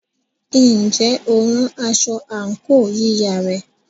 Ǹjẹ́ o rán aṣọ àǹkóò yíya rẹ?